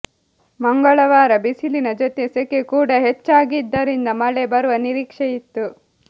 ಮಂಗಳವಾರ ಬಿಸಿಲಿನ ಜೊತೆ ಸೆಕೆ ಕೂಡಾ ಹೆಚ್ಚಾಗಿದ್ದರಿಂದ ಮಳೆ ಬರುವ ನಿರೀಕ್ಷೆ ಇತ್ತು